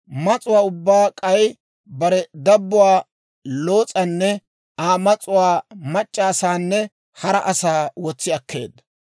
Mas'uwaa ubbaa, k'ay bare dabbuwaa Loos'anne Aa mas'uwaa, mac'c'a asaanne hara asaa wotsi akkeedda.